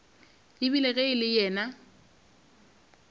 ebile ge e le yena